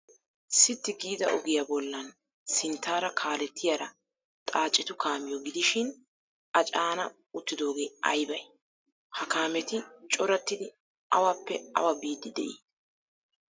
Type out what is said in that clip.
Sitti giida ogiya bollan sinttaara kaalettiyara xaacetu kaamiyo gidishin A caana uttidoogee aybay? Ha kaameti corattidi awappe awa biiddi de'ii?